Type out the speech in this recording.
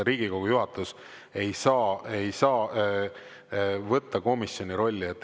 Riigikogu juhatus ei saa võtta komisjoni rolli.